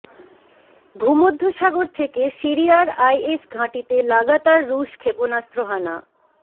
ভূমধ্যসাগর থেকে সিরিয়ার আইএস ঘাঁটিতে লাগাতার রুশ ক্ষেপণাস্ত্র হানা